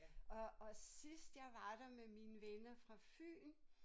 Og og sidst jeg var der med mine venner fra Fyn